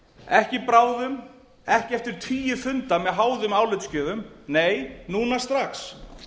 ekki bráðum ekki eftir tugi funda með háðum álitsgjöfum nei núna strax